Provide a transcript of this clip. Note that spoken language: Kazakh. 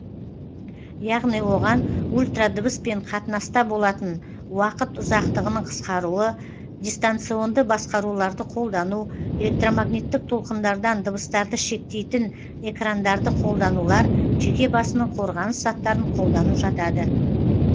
яғни оған ультрадыбыспен қатынаста болатын уақыт ұзақтығының қысқаруы дистанционды басқаруларды қолдану электромагниттік толқындардан дыбыстарды шектейтін экрандарды қолданулар жеке басының қорғаныс заттарын қолдану жатады